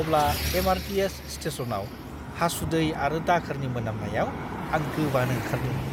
अब्ला एम.आर.टी.एस. स्टेशनआव हासुदै आरो दाखोरनि मोनामनायाव आं गोबानो ओंखारदोंमोन!